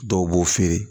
Dɔw b'o feere